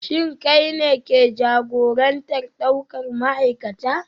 Shin kai ne ke jagorantar daukar ma'aikata?